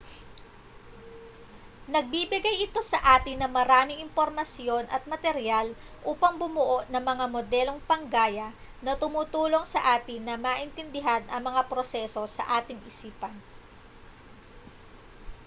nagbibigay ito sa atin ng maraming impormasyon at materyal upang bumuo ng mga modelong panggaya na tumutulong sa atin na maintindihan ang mga proseso sa ating isipan